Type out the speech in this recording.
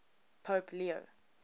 pope leo